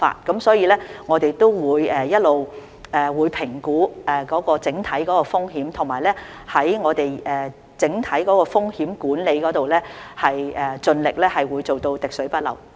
總括而言，我們會一直評估整體風險，並在整體風險管理方面盡力會做到滴水不漏。